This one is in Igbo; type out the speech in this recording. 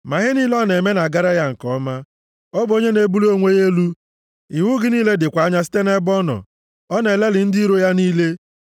Ma ihe niile ọ na-eme na-agara ya nke ọma; ọ bụ onye na-ebuli onwe ya elu, iwu gị niile dịkwa anya site nʼebe ọ nọ; ọ na-elelị ndị iro ya niile.